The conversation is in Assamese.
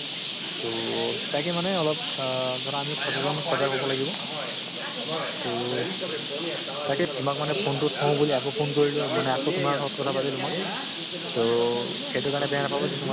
তহ তাকে মানে অলপ অহ ধৰা আমিও সচেতন সজাগ হʼব লাগিব। তহ তাকে তোমাক মানে phone টো থও বুলি আকৌ phone কৰিলো মানে আকৌ তোমাৰ লগত কথা পাতিলো মই। তহ এইটো কাৰণে বেয়া নাপাবা যে তোমাৰ